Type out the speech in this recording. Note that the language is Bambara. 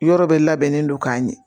Yɔrɔ bɛɛ labɛnnen don k'a ɲɛ